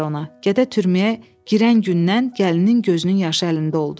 Gədə türməyə girən gündən gəlinin gözünün yaşı əlində oldu.